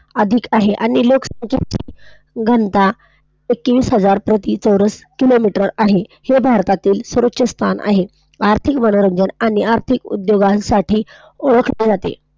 अधिक आहे आणि अधिकतर घनता एकवीस हजार प्रति चौरस किलोमीटर आहे. हे भारताचे सर्वात प्रथम स्थान आहे, आर्थिक मनोरंजन आणि आर्थिक उदयोगांसाठी ओळखले जाते.